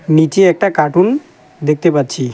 নীচে একটা কার্টুন দেখতে পাচ্ছি।